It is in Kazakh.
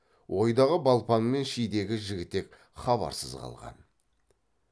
ойдағы балпаң мен шидегі жігітек хабарсыз қалған